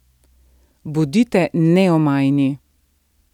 Bodite neomajni.